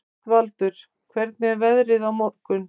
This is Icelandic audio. Kristvaldur, hvernig er veðrið á morgun?